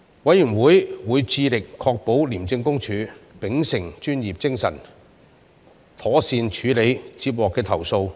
委員會會致力確保廉政公署秉持專業精神，妥善處理接獲的投訴。